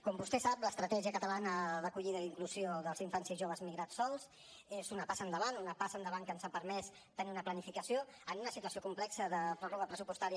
com vostè sap l’estratègia catalana d’acollida i d’inclusió dels infants i joves migrats sols és una passa endavant una passa endavant que ens ha permès tenir una planificació en una situació complexa de pròrroga pressupostària